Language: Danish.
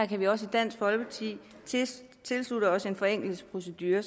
kan også i dansk folkeparti tilslutte os en forenklet procedure